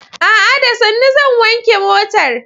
A'a! Da sannu zan wanke motar.